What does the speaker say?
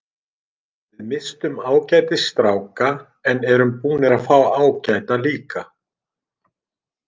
Við misstum ágætis stráka en erum búnir að fá ágæta líka.